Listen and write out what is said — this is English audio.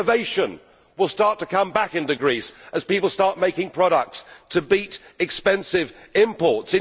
Innovation will start to come back into Greece as people start making products to beat expensive imports.